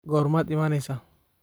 goormaad imanaysaa